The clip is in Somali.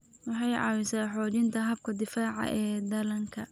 Waxay caawisaa xoojinta habka difaaca ee dhallaanka.